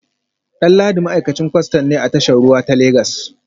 Danladi ma’aikacin kwastan ne a tashar ruwa ta Legas